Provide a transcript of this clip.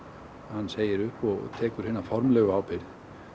hann segir upp og tekur hina formlegu ábyrgð